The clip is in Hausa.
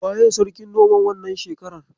Waye Sarkin noman wannan shekarar?